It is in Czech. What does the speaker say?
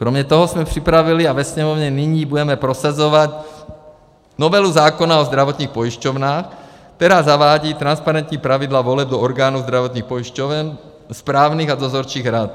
Kromě toho jsme připravili a ve Sněmovně nyní budeme prosazovat novelu zákona o zdravotních pojišťovnách, která zavádí transparentní pravidla voleb do orgánů zdravotních pojišťoven, správních a dozorčích rad.